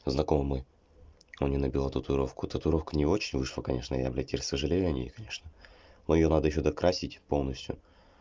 знакомый мой он мне набил татуировку татуировка не очень вышла конечно я блядь теперь сожалею о ней конечно но её надо ещё докрасить полностью